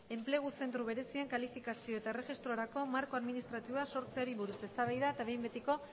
enplegu zentro berezien kalifikazio eta erregistrorako marko administratiboa sortzeari buruz eztabaida eta behin betiko